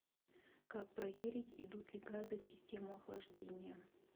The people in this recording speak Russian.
как проверить идут ли газы в систему охлаждения